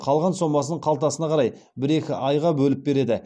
қалған сомасын қалтасына қарай бір екі айға бөліп береді